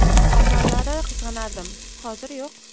Avvallari qizg‘anardim, hozir yo‘q.